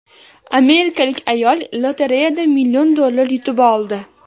Amerikalik ayol lotereyadan million dollar yutib oldi.